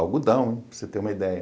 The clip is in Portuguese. Algodão, para você ter uma ideia.